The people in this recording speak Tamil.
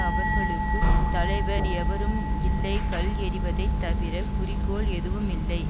அவர்களுக்கு தலைவர் எவரும் இல்லை கல் எறிவதைத் தவிர குறிக்கோள் எதுவுமில்லை